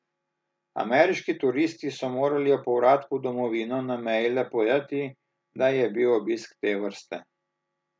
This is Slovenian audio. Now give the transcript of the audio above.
Ameriški turisti so morali ob povratku v domovino na meji le povedati, da je bil obisk te vrste.